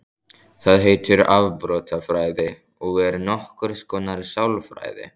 Það heitir afbrotafræði og er nokkurs konar sálfræði.